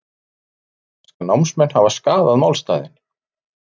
Segja breska námsmenn hafa skaðað málstaðinn